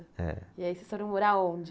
É. E aí vocês foram morar onde?